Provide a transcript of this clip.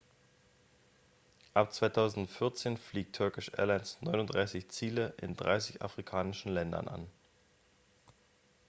ab 2014 fliegt turkish airlines 39 ziele in 30 afrikanischen ländern an